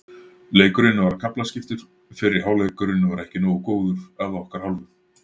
Leikurinn var kaflaskiptur, fyrri hálfleikurinn var ekki nógu góður að okkar hálfu.